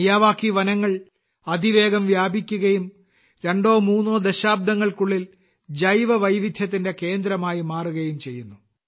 Miyawaki വനങ്ങൾ അതിവേഗം വ്യാപിക്കുകയും രണ്ടോ മൂന്നോ ദശാബ്ദങ്ങൾക്കുള്ളിൽ ജൈവവൈവിധ്യത്തിന്റെ കേന്ദ്രമായി മാറുകയും ചെയ്യുന്നു